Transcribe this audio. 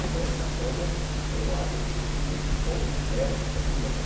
Então essas coisas, eu acho que eh o povo perde, termina